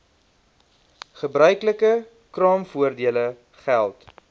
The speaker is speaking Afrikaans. gebruiklike kraamvoordele geld